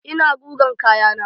Ina gugan kayana